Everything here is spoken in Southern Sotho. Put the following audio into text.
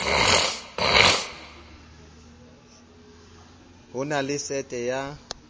ho na le sete ya